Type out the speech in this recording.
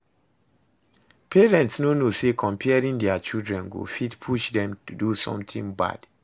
Parents no know say comparing their children go fit push dem do something bad